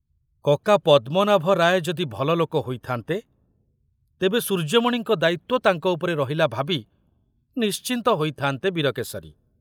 କକା ପଦ୍ମନାଭ ରାୟ ଯଦି ଭଲ ଲୋକ ହୋଇଥାନ୍ତେ, ତେବେ ସୂର୍ଯ୍ୟମଣିଙ୍କ ଦାୟିତ୍ୱ ତାଙ୍କ ଉପରେ ରହିଲା ଭାବି ନିଶ୍ଚିନ୍ତ ହୋଇଥାନ୍ତେ ବୀରକେଶରୀ।